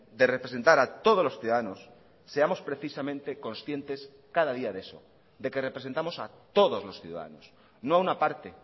de representar a todos los ciudadanos seamos precisamente conscientes cada día de eso de que representamos a todos los ciudadanos no a una parte